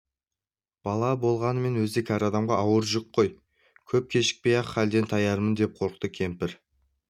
бала болғанымен өзі кәрі адамға ауыр жүк қой көп кешікпей-ақ халден таярмын деп қорықты кемпір